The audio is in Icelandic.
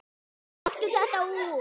Taktu þetta út